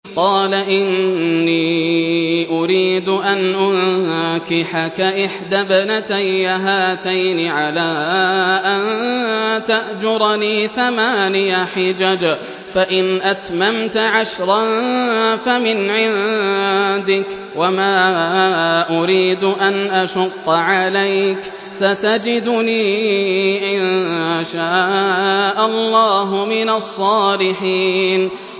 قَالَ إِنِّي أُرِيدُ أَنْ أُنكِحَكَ إِحْدَى ابْنَتَيَّ هَاتَيْنِ عَلَىٰ أَن تَأْجُرَنِي ثَمَانِيَ حِجَجٍ ۖ فَإِنْ أَتْمَمْتَ عَشْرًا فَمِنْ عِندِكَ ۖ وَمَا أُرِيدُ أَنْ أَشُقَّ عَلَيْكَ ۚ سَتَجِدُنِي إِن شَاءَ اللَّهُ مِنَ الصَّالِحِينَ